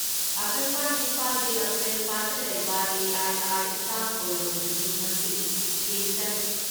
ꯑꯀꯥꯁꯕꯥꯅꯤ ꯏꯝꯐꯥꯜꯒꯤ ꯂꯝꯐꯦꯜꯄꯥꯠꯇ ꯂꯩꯕ ꯑꯦ.ꯑꯥꯏ.ꯑꯥꯔ ꯏꯁꯇꯥꯐ ꯀꯣꯂꯣꯅꯤꯗꯁꯨ ꯉꯁꯤ ꯏꯁꯇꯦꯁꯟ